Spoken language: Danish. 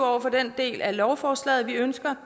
over for den del af lovforslaget vi ønsker